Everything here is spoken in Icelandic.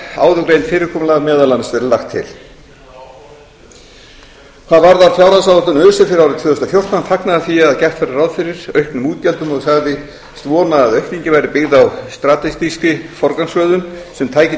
áðurgreint fyrirkomulag meðal annars verið lagt til hvað varðar fjárhagsáætlun öse fyrir árið tvö þúsund og fjórtán fagnaði hann því að gert væri ráð fyrir auknum útgjöldum og sagðist vona að aukningin væri byggð á strategískri forgangsröðun sem tæki til